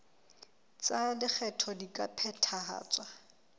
tsa lekgetho di ka phethahatswa